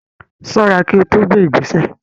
Ṣọ́ra kí o tó gbé ìgbésẹ̀.